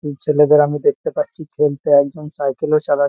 উম ছেলেদের আমি দেখতে পাচ্ছি খেলতে। একজন সাইকেল -ও চালায়--